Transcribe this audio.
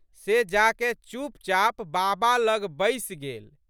से जाकए चुपचाप बाबा लग बैसि गेल।